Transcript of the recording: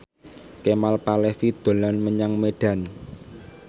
Kemal Palevi dolan menyang Medan